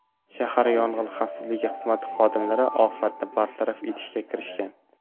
Shahar yong‘in xavfsizligi xizmati xodimlari ofatni bartaraf etishga kirishgan.